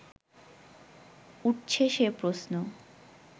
উঠছে সে প্রশ্ন